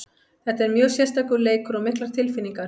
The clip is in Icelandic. Þetta er mjög sérstakur leikur og miklar tilfinningar.